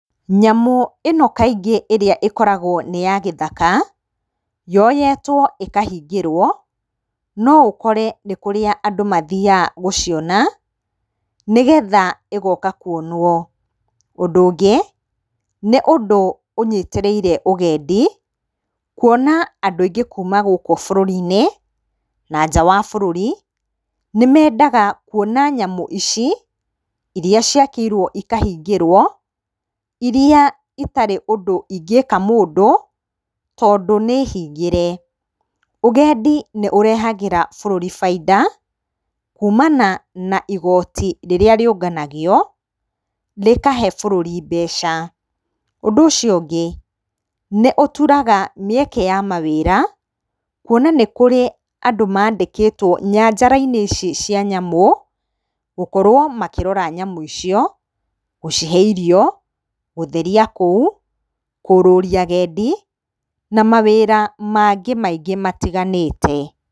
Nyamũ ĩno kaingĩ ĩrĩa ĩkoragwo nĩ ya gĩthaka yoyetwo ĩkahingirwo, no ũkore nĩ kũrĩa andũ mathiyaga gũciona nĩgetha ĩgoka kuonwo. Ũndũ ũngĩ nĩ ũndũ ũnyitĩrĩire ũgendi kuona andũ aingĩ kuma gũkũ bũrũri-inĩ na nja wa bũrũri nĩmendaga kuona nyamũ ici iria ciakĩirwo ikahingĩrwo iria gũtarĩ ũndũ ingĩka mũndũ tondũ nĩhingĩre. Ũgendi nĩ ũrehagĩra bũrũri baida kumana na igoti rĩrĩa rĩũnganagio rĩkahe bũrũri mbeca. Ũndũ ũcio ũngĩ nĩ ũturaga mĩeke ya mawĩra kuona nĩ kũrĩ andũ mandĩkĩtwo nyanjara-inĩ ici cia nyamũ gũkorwo makĩrora nyamũ icio, gũcihe irio, gũtheria kũu, kũrũria agendi na mawĩra mangĩ maingĩ matiganĩte.